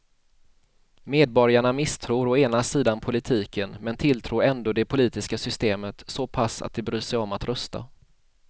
Medborgarna misstror å ena sidan politiken men tilltror ändå det politiska systemet så pass att de bryr sig om att rösta.